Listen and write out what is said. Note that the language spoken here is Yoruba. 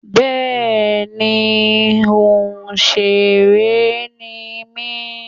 Bẹ́ẹ̀ni òsèré ni mí